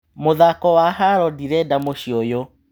Mũthako wa haro ndirenda mũcĩĩ ũyũ.